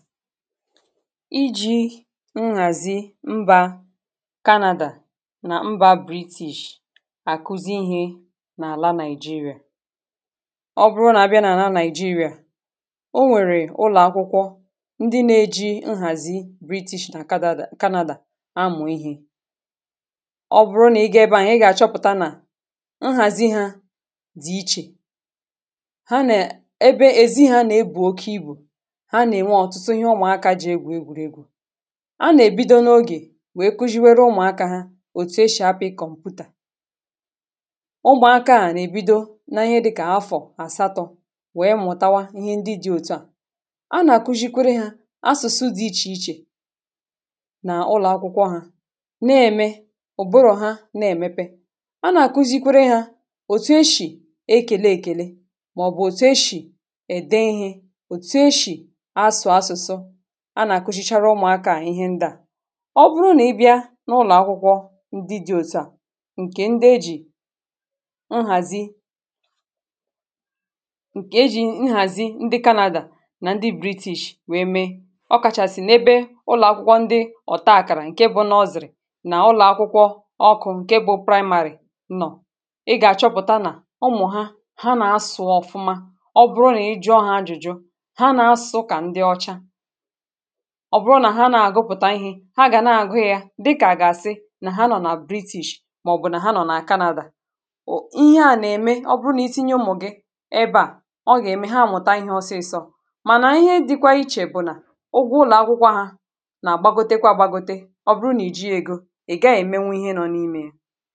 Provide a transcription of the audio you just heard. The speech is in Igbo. iji̇ nhàzi mbȧ canada na mbȧ british àkụzi ihe n’àla nigeria ọ bụrụ nà abịa nà àla nigeria o nwèrè ụlọ̀akwụkwọ ndi na-eji nhàzi british nà canada amụ̀ ihe ọ bụrụ nà ị gà-ebe ànyị gà-àchọpụ̀ta nà nhàzi ha dị̀ ichè ha nà ebe ezi hȧ nà ebù oke ibù a nà-èbido n’ogè wèe kuziwere ụmụ̀akȧ ha òtù eshì apị̇ kọmpụ̀tà ụgbọ̀aka à nà-èbido n’ihe dị̇kà afọ̀ àsatọ̇ wèe mụ̀tawa ihe ndị dị̇ òtù à a nà-àkuzikwere hȧ asụ̀sụ dị̇ ichè ichè nà ụlọ̀akwụkwọ ha na-ème ụ̀bụrụ̀ ha na-èmepe a nà-àkuzikwere hȧ òtù eshì ekele èkèle màọ̀bụ̀ òtù eshì ède ihė a nà-àkpụsichara ụmụ̀akȧ ihe ndị à ọ bụrụ nà ị bịa n’ụlọ̀ akwụkwọ ndị dị̇ òtu à ǹkè ndị ejì nhàzi ǹkè e jì nhàzi ndị canada nà ndị british wèe mee ọ kàchàsị̀ n’ebe ụlọ̀ akwụkwọ ndị ọ̀taa àkàrà ǹke bụ nà ọzọ̀rị̀ nà ụlọ̀ akwụkwọ ọkụ̇ ǹke bụ praịmarị̀ nọ̀ ị gà-àchọpụ̀ta nà ụmụ̀ ha ha nà-asụ̇ ọ̀fụma ọ bụrụ nà ị jụọ ha ajụjụ ha nà-asụ̇ kà ndị ọcha ọ bụrụ nà ha na-àgụpụ̀ta ihė ha gà na-àgụ yȧ dịkà àgàsị nà ha nọ̀ nà british màọ̀bụ̀ nà ha nọ̀ nà canada wụ̀ ihe à nà-ème ọ bụrụ nà itinye ụmụ̀ gị ebe à ọ gà-ème ha mụ̀ta ihe ọsịị̇sọ̇ mànà ihe dịkwa ichè bụ̀ nà ụgwọ ụlọ̀ akwụkwọ ha nà-àgbagote kwȧ gbagote ọ bụrụ nà i ji ègo ị̀ gaghị̇ èmenwe ihe nọ n’imė ya